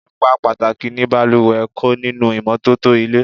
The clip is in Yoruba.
Ipa pàtàkì ni balùwẹ̀ ń kó nínú ìmọ́tótó ilé.